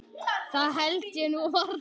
Það held ég nú varla.